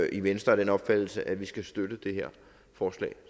i venstre af den opfattelse at vi skal støtte det her forslag